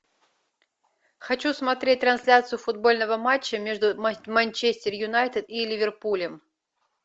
хочу смотреть трансляцию футбольного матча между манчестер юнайтед и ливерпулем